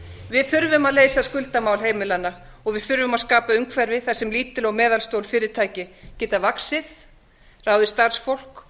við þurfum að leysa skuldamál heimilanna og við þurfum að skapa umhverfi þar sem lítil og meðalstór fyrirtæki geta vaxið ráðið starfsfólk